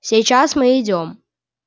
сейчас мы идём